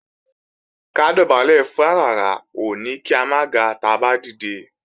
Ká dọ̀bálẹ̀ fún aràrá ò ní kí a máa ga táa bá dìde